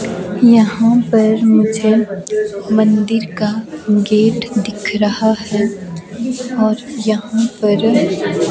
यहां पर मुझे मंदिर का गेट दिख रहा है और यहां पर--